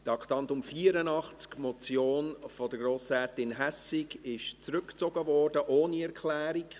Zu Traktandum 84: Die Motion von Grossrätin Hässig wurde zurückgezogen, ohne Erklärung.